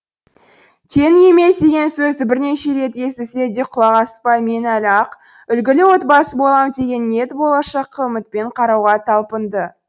теңің емес деген сөзді бірнеше рет естісе де құлақ аспай мен әлі ақ үлгілі отбасы болам деген ниет болашаққа үмітпен қарауға талпынды